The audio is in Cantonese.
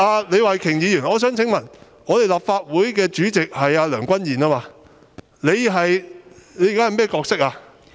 李慧琼議員，我想問，立法會主席是梁君彥，你現在的角色是甚麼？